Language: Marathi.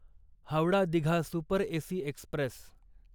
Howrah Digha super AC Express